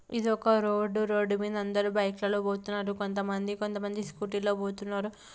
ఇదొక road . Road మీద అందరూ బైక్ లలో పోతున్నారు కొంతమంది. కొంతమంది స్కూటీ లలో పోతున్నారు.